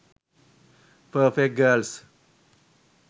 perfect girls